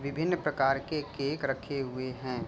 विभिन्न प्रकार के केक रखे हुए हैं।